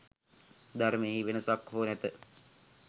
ධර්මයෙහි වෙනසක් හෝ නැත.